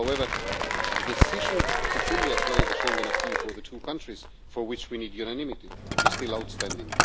However, the decision to fully apply the Schengen acquis for the two countries, for which we need unanimity, is still outstanding.